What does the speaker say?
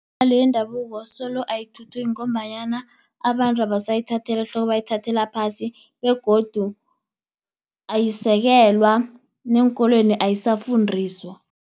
yendabuko solo ayithuthuki ngombanyana abantu abasayithatheli ehloko, bayithathela phasi begodu ayisekelwa neenkolweni ayisafundiswa.